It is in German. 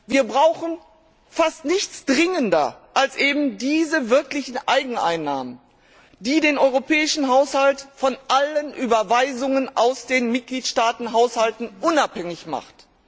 Wir brauchen fast nichts dringender als eben diese wirklichen Eigeneinnahmen, die den europäischen Haushalt von allen Überweisungen aus den Mitgliedstaatenhaushalten unabhängig macht.